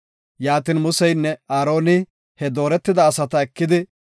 Yaatin Museynne Aaroni he dooretida asata ekidi,